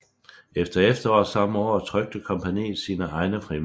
Fra efteråret samme år trykte kompagniet sine egne frimærker